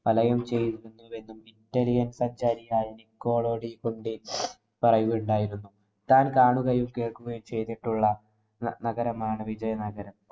വലയം ചെയ്തിരുന്നുവെന്നും, ഇറ്റാലിയന്‍ സഞ്ചാരിയായ നിക്കോളോഡി കൊണ്ടി പറയുകയുണ്ടായിരുന്നു. താന്‍ കാണുകയും, കേള്‍ക്കുകയും ചെയ്തിട്ടുള്ള നഗരമാണ് വിജയനഗരം